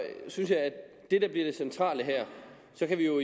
synes jeg at det der bliver det centrale her så kan vi jo